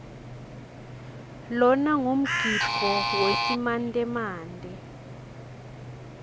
lona ngumgidvo wesimantemante